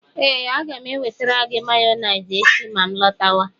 ee, aga m enwetara gị mayonesi echi ma nlọtawa